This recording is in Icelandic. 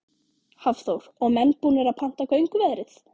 Hafþór: Og menn búnir að panta gönguveðrið?